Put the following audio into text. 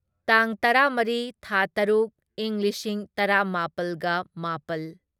ꯇꯥꯡ ꯇꯔꯥꯃꯔꯤ ꯊꯥ ꯇꯔꯨꯛ ꯢꯪ ꯂꯤꯁꯤꯡ ꯇꯔꯥꯃꯥꯄꯜꯒ ꯃꯥꯄꯜ